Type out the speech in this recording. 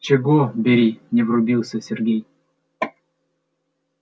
чего бери не врубился сергей